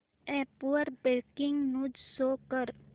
app वर breaking news show कर